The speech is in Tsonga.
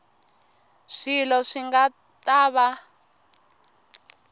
swilo swi nga ta va